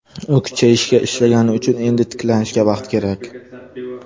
U kuchayishga ishlagani uchun, endi tiklanishga vaqt kerak.